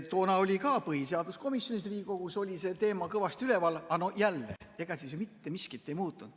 Toona oli ka põhiseaduskomisjonis, Riigikogus see teema kõvasti üleval, aga jälle, ega mitte miskit ei muutunud.